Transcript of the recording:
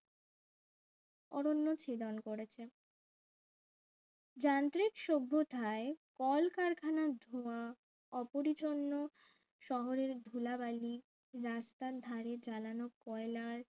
অরণ্য ছেদন করেছে যান্ত্রিক সভ্যতায় কলকারখানার ধোঁয়া অপরিচ্ছন্ন শহরের ধুলাবালি রাস্তার ধারে চালানো কয়লার